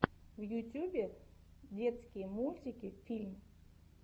в ютьюбе детские мультики фильм